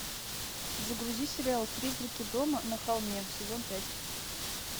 загрузи сериал призраки дома на холме сезон пять